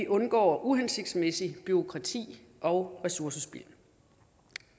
undgår uhensigtsmæssigt bureaukrati og ressourcespild